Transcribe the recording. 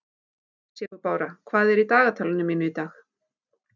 Sigurbára, hvað er í dagatalinu mínu í dag?